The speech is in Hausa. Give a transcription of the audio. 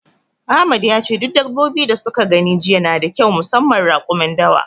Ahmad yace duk dabbobi da suka gani jiya nada kyau musamman raƙumin dawa.